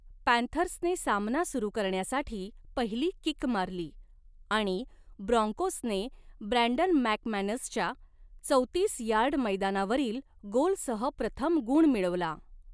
पँथर्सने सामना सुरू करण्यासाठी पहिली किक मारली आणि ब्रॉन्कोसने ब्रँडन मॅकमॅनसच्या चौतीस यार्ड मैदानावरील गोलसह प्रथम गुण मिळवला.